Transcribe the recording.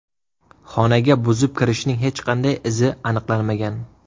Xonaga buzib kirishning hech qanday izi aniqlanmagan.